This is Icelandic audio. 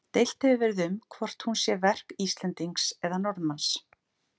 Deilt hefur verið um hvort hún sé verk Íslendings eða Norðmanns.